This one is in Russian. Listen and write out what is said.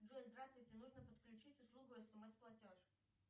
джой здравствуйте нужно подключить услугу смс платеж